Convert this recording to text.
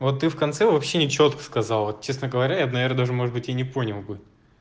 вот ты в конце вообще нечётко сказала честно говоря я наверное даже может быть я не понял бы